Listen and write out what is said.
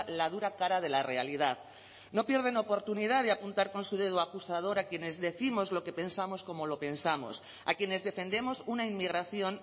la dura cara de la realidad no pierden oportunidad de apuntar con su dedo acusador a quienes décimos lo que pensamos como lo pensamos a quienes defendemos una inmigración